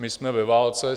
My jsme ve válce.